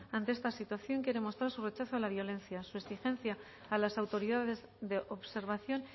ante esta situación quiere mostrar su rechazo a la violencia su exigencia a las autoridades de observación